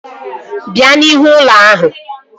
Bịa n'ihu ụlọ ahụ!